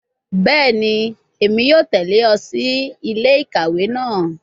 Bẹẹni, Emi yoo tẹle ọ si ile-ikawe naa